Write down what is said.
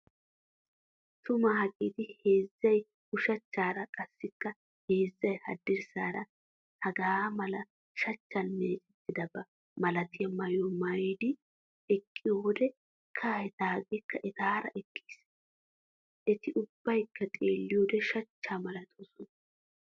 Tuma hageeti heezzay ushachchaara qassikka heezzay haddirssaara hagaa mala shachchan meecettidaba malatiya maayyuwaa maayyidi eqqiyo wode kahay taageekka etaara eqqiis. Eti ubbaykka xeelliyode shachchaa malatoosona.